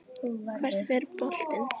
Hvert fer boltinn?